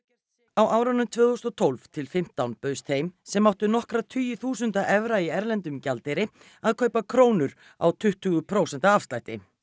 á árunum tvö þúsund og tólf til fimmtán bauðst þeim sem áttu nokkra tugi þúsunda evra í erlendum gjaldeyri að kaupa krónur á tuttugu prósenta afslætti